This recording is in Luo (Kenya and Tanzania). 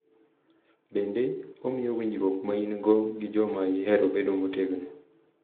Bende, omiyo winjruok ma in-go gi joma ihero bedo motegno.